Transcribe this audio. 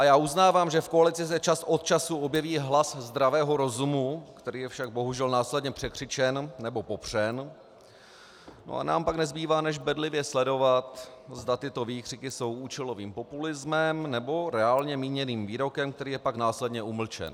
A já uznávám, že v koalici se čas od času objeví hlas zdravého rozumu, který je však bohužel následně překřičen nebo popřen, a nám pak nezbývá než bedlivě sledovat, zda tyto výkřiky jsou účelovým populismem, nebo reálně míněným výrokem, který je pak následně umlčen.